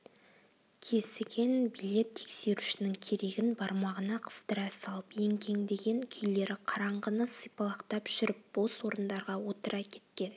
кесіген билет тексерушінің керегін бармағына қыстыра салып еңкеңдеген күйлері қараңғыны сипалақтап жүріп бос орындарға отыра кеткен